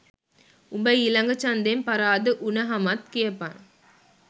උඹ ඊලග ජන්දෙන් පරාද උනහමත් කියපන්